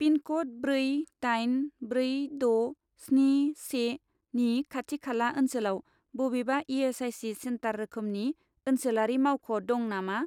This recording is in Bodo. पिनक'ड ब्रै दाइन ब्रै द' स्नि से नि खाथि खाला ओनसोलाव बबेबा इ.एस.आइ.सि. सेन्टार रोखोमनि ओनसोलारि मावख' दं नामा?